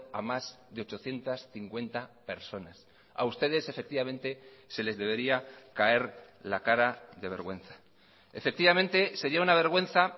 a más de ochocientos cincuenta personas a ustedes efectivamente se les debería caer la cara de vergüenza efectivamente sería una vergüenza